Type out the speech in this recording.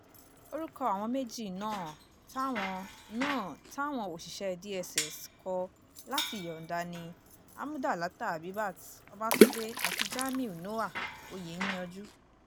gomina wàá gba àwọn ẹ̀ṣọ́ náà níyànjú láti ṣiṣẹ́ ìdáàbòbò àwọn aráàlú náà pẹ̀lú ìkórèènì-níjàánu ìwà òtítọ́ òdodo àti ìjáfáfá